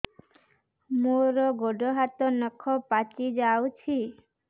ମୋର ଗୋଡ଼ ହାତ ନଖ ପାଚି ଯାଉଛି